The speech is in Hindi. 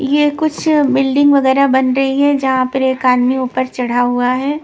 यह कुछ बिल्डिंग वगैरह बन रही है जहाँ पर एक आदमी ऊपर चढ़ा हुआ है।